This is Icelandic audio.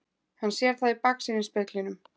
Hann sér það í baksýnisspeglinum.